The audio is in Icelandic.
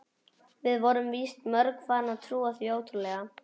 Við vorum víst mörg farin að trúa því ótrúlega.